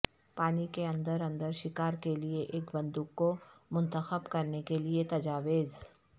پانی کے اندر اندر شکار کے لئے ایک بندوق کو منتخب کرنے کے لئے تجاویز